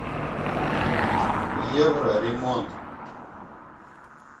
евроремонт